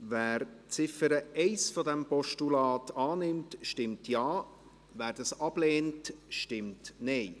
Wer die Ziffer 1 dieses Postulats annimmt, stimmt Ja, wer dies ablehnt, stimmt Nein.